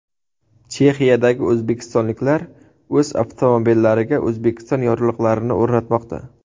Chexiyadagi o‘zbekistonliklar o‘z avtomobillariga O‘zbekiston yorliqlarini o‘rnatmoqda.